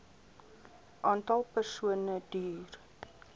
aantal persone duur